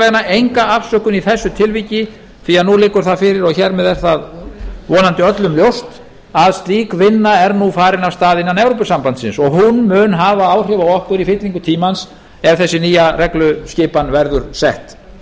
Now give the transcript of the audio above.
vegana enga afsökun í þessu tilviki því nú liggur það fyrir og hér með er það vonandi öllum ljóst að slík vinna er nú farin af stað innan evrópusambandsins og hún mun hafa áhrif á okkur í fyllingu tímans ef þessi nýja regluskipan verður sett